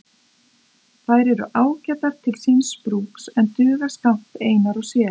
Þær eru ágætar til síns brúks en duga skammt einar og sér.